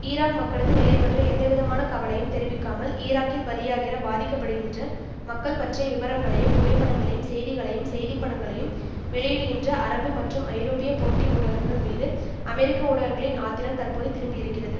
Iraq மக்களது நிலை பற்றி எந்தவிதமான கவலையும் தெரிவிக்காமல் ஈராக்கில் பலியாகிற பாதிக்க படுகின்ற மக்கள் பற்றிய விபரங்களையும் புகைப்படங்களையும் செய்திகளையும் செய்திப்படங்களையும் வெளியிடுகின்ற அரபு மற்றும் ஐரோப்பிய போட்டி ஊடகங்கள் மீது அமெரிக்க ஊடகங்களின் ஆத்திரம் தற்போது திரும்பி இருக்கிறது